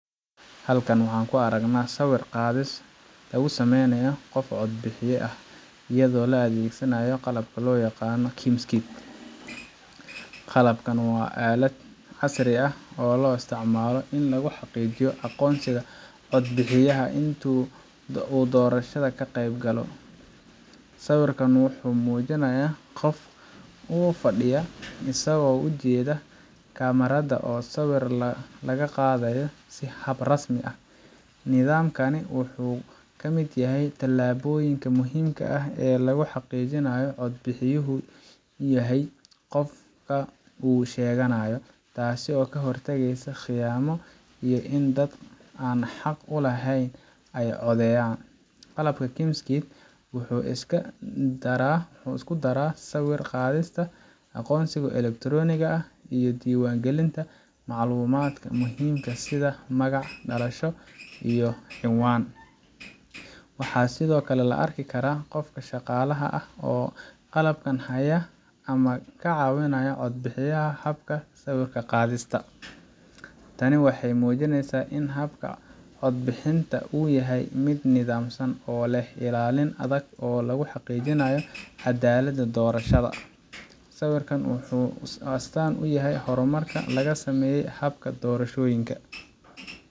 Halkan waxaan ku aragnaa sawir qaadis lagu sameynayo qof cod bixiye ah iyadoo la adeegsanayo qalabka loo yaqaan KIMS Kit. Qalabkan waa aalad casri ah oo loo isticmaalo in lagu xaqiijiyo aqoonsiga cod bixiyaha inta uu doorashada ka qaybgalayo. Sawirkan waxa uu muujinayaa qofka oo fadhiya, isagoo u jeeda kamaradda oo sawirka laga qaadayo si hab rasmi ah. Nidaamkani wuxuu ka mid yahay tallaabooyinka muhiimka ah ee lagu xaqiijinayo in codbixiyuhu yahay qofka uu sheeganayo, taasoo ka hortagaysa khiyaamo iyo in dad aan xaq u lahayn ay codeeyaan. Qalabka KIMS Kit wuxuu isku daraa sawir qaadista, aqoonsiga elektaroonigga ah, iyo diiwaangelinta macluumaadka muhiimka ah sida magac, dhalasho, iyo cinwaan. Waxaa sidoo kale la arki karaa qofka shaqaalaha ah oo qalabka haya ama ka caawinaya cod bixiyaha habka sawir qaadista. Tani waxay muujinaysaa in habka cod bixinta uu yahay mid nidaamsan oo leh ilaalin adag oo lagu xaqiijinayo cadaaladda doorashada. Sawirkan waxa uu astaan u yahay horumarka laga sameeyay hababka doorashooyinka.